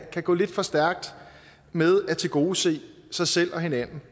kan gå lidt for stærkt med at tilgodese sig selv og hinanden